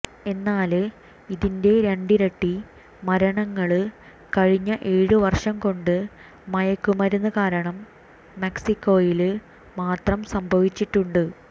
എന്നാല് ഇതിന്റെ രണ്ടിരട്ടി മരണങ്ങള് കഴിഞ്ഞ ഏഴു വര്ഷം കൊണ്ട് മയക്കുമരുന്ന് കാരണം മെക്സിക്കോയില് മാത്രം സംഭവിച്ചിട്ടുണ്ട്